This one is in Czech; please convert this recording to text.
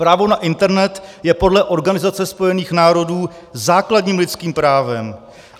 Právo na internet je podle Organizace spojených národů základním lidským právem.